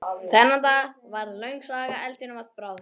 Þennan dag varð löng saga eldinum að bráð.